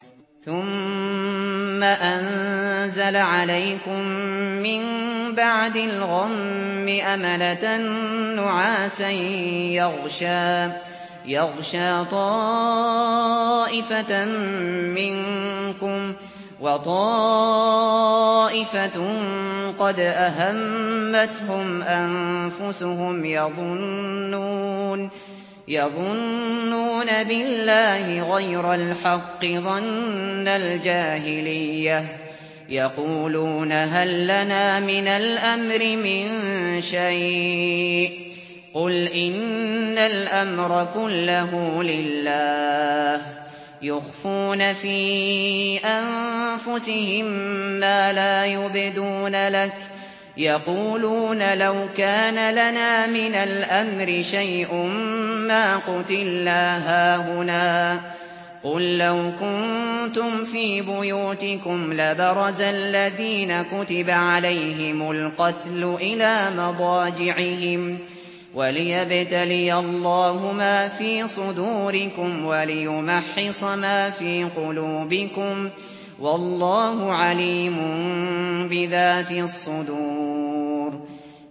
ثُمَّ أَنزَلَ عَلَيْكُم مِّن بَعْدِ الْغَمِّ أَمَنَةً نُّعَاسًا يَغْشَىٰ طَائِفَةً مِّنكُمْ ۖ وَطَائِفَةٌ قَدْ أَهَمَّتْهُمْ أَنفُسُهُمْ يَظُنُّونَ بِاللَّهِ غَيْرَ الْحَقِّ ظَنَّ الْجَاهِلِيَّةِ ۖ يَقُولُونَ هَل لَّنَا مِنَ الْأَمْرِ مِن شَيْءٍ ۗ قُلْ إِنَّ الْأَمْرَ كُلَّهُ لِلَّهِ ۗ يُخْفُونَ فِي أَنفُسِهِم مَّا لَا يُبْدُونَ لَكَ ۖ يَقُولُونَ لَوْ كَانَ لَنَا مِنَ الْأَمْرِ شَيْءٌ مَّا قُتِلْنَا هَاهُنَا ۗ قُل لَّوْ كُنتُمْ فِي بُيُوتِكُمْ لَبَرَزَ الَّذِينَ كُتِبَ عَلَيْهِمُ الْقَتْلُ إِلَىٰ مَضَاجِعِهِمْ ۖ وَلِيَبْتَلِيَ اللَّهُ مَا فِي صُدُورِكُمْ وَلِيُمَحِّصَ مَا فِي قُلُوبِكُمْ ۗ وَاللَّهُ عَلِيمٌ بِذَاتِ الصُّدُورِ